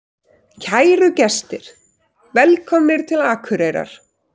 Kæru gestir! Velkomnir til Akureyrar.